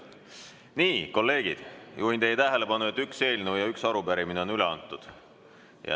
Nii, kolleegid, juhin teie tähelepanu, et üks eelnõu ja üks arupärimine on üle antud.